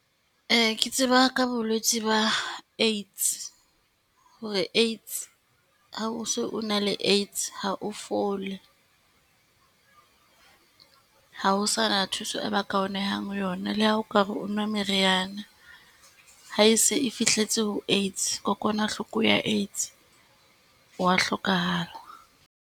Ee, ke tseba ka bolwetsi ba AIDS, hore Aids ha o so o na le AIDS, ha o fole. Ha ho sa na thuso e ba ka o nehang yona le ha o ka re o nwa meriana. Ha e se e fihletse ho AIDS, kokwanahloko ya AIDS, o wa hlokahala.